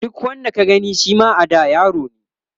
duk wanda ka Gane Shima a da yarone